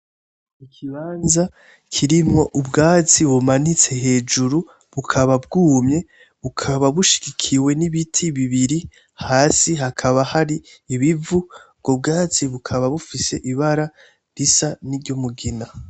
Ikibanza kirimwo ubwatsi bumanitse hejuru, bukaba bwumye ,bukaba bushigikiwe nibiti bibiri hasi hakaba hari ibivu, ubwo bwatsi bukaba bufise ibara ry'umugina.